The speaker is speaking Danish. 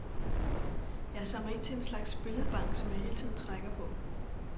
Jeg samler ind til en slags billedbank, som jeg hele tiden trækker på.